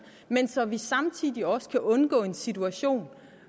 men så vi samtidig også kan undgå en situation